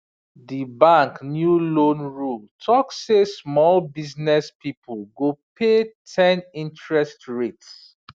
d bank new loan rule talk say small business people go pay ten interest rate